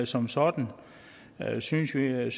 som sådan synes jeg